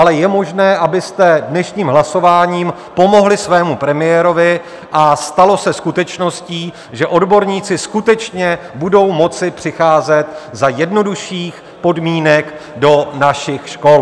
Ale je možné, abyste dnešním hlasováním pomohli svému premiérovi a stalo se skutečností, že odborníci skutečně budou moci přicházet za jednodušších podmínek do našich škol.